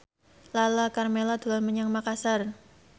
Lala Karmela dolan menyang Makasar